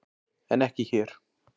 En ekki hér.